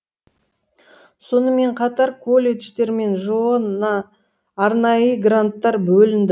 сонымен қатар колледждер мен жоо на арнайы гранттар бөлінді